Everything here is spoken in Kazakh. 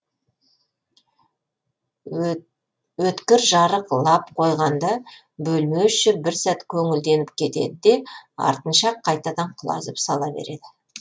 өткір жарық лап қойғанда бөлме іші бір сәт көңілденіп кетеді де артынша ақ қайтадан құлазып сала береді